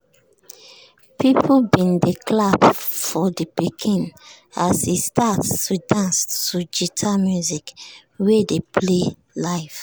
people bin dey clap for de pikin as e start to dance to guitar music wey dey play live.